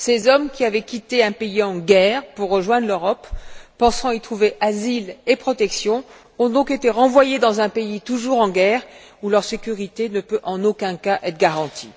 Ces hommes, qui avaient quitté un pays en guerre pour rejoindre l'Europe, pensant y trouver asile et protection, ont donc été renvoyés dans un pays toujours en guerre, où leur sécurité ne peut en aucun cas être garantie.